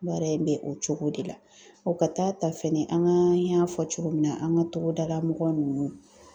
Baara in bɛ o cogo de la, o ka taa ta fɛnɛ , an y'a fɔ cogo min na, an ka togodala mɔgɔ ninnu.